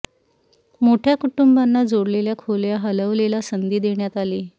मोठ्या कुटुंबांना जोडलेल्या खोल्या हलवलेला संधी देण्यात आली